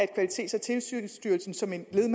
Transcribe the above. kvalitets og tilsynsstyrelsen som et led i